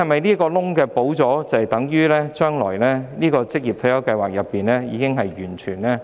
堵塞漏洞後，是否等於職業退休計劃的保障已經很完善？